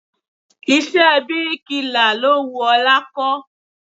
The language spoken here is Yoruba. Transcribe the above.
Iṣẹ́ bíríkilà lo wù ọlá kó.